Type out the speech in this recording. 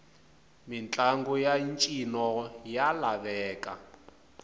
mitlangu yantjino yalaveka